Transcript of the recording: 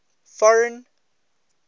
foreign